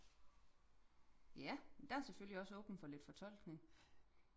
ja der er selvfølgelig også åbent for lidt fortolkning